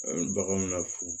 An bɛ baganw na fu